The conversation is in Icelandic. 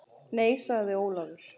Nei sagði Ólafur.